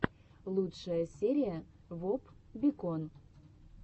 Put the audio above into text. лучшая серия воп бикон